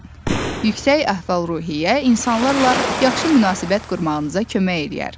Yüksək əhval-ruhiyyə insanlarla yaxşı münasibət qurmağınıza kömək eləyər.